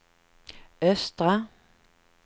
östra